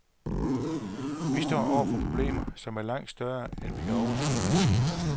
Vi står over for problemer, som er langt større, end vi kan overskue lige nu.